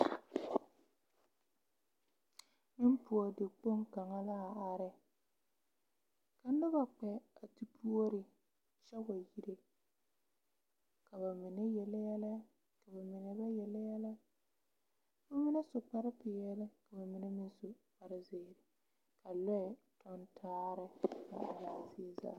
Yipuori kpoŋ kaŋa la a are, ka noba kpԑ a te puorikyԑ way ire. Ka ba mine yele yԑlԑ ka ba mine ba yele yԑlԑ. ka ba mine su kpare peԑle ka ba mine meŋ su kpare zeere, ka lͻԑ tͻŋ tare a araa zie zaa.